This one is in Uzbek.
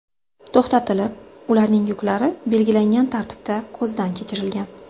to‘xtatilib, ularning yuklari belgilangan tartibda ko‘zdan kechirilgan.